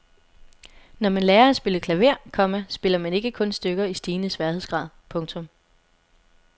Når man lærer at spille klaver, komma spiller man ikke kun stykker i stigende sværhedsgrad. punktum